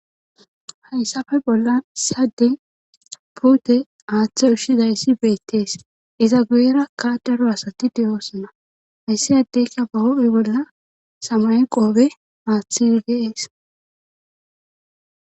hayssafe bollan issi adey puute haththe ushshizayssi beettees iza guerakka daro asati de'osona hayssi addeykka ba huphphe bolla samayawu qoobe aaththi geees